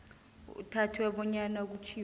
kuthathwe bonyana kutjhiwo